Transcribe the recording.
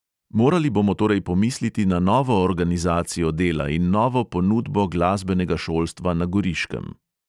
Morali bomo torej pomisliti na novo organizacijo dela in novo ponudbo glasbenega šolstva na goriškem.